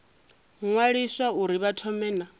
ṅwaliswa uri vha thome na